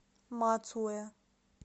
мацуэ